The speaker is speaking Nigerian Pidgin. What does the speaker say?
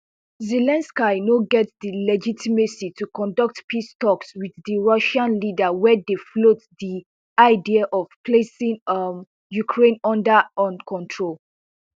zelensky no get di legitimacy to conduct peace talks wit di russian leader wey dey float di idea of placing um ukraine under un control